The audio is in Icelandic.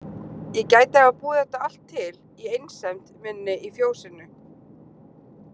Ég gæti hafa búið þetta allt til í einsemd minni í fjósinu.